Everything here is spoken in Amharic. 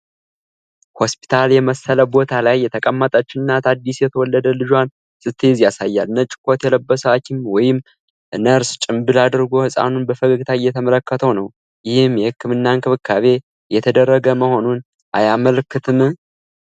ሆስፒታል የመሰለ ቦታ ላይ የተቀመጠች እናት አዲስ የተወለደ ልጇን ስትይዝ ያሳያል። ነጭ ኮት የለበሰ ሀኪም ወይም ነርስ ጭንብል አድርጎ ህፃኑን በፈገግታ እየተመለከተው ነው፤ ይህም የህክምና እንክብካቤ እየተደረገ መሆኑን አያመለክትም?5